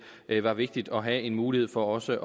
var vigtigt at have en mulighed for også